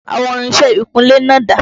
Àwọn irinṣẹ́ ìkúnlé náà dà?